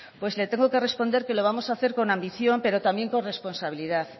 pues le tengo que responder que lo vamos a hacer con ambición pero también con responsabilidad